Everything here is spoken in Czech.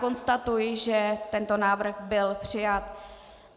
Konstatuji, že tento návrh byl přijat.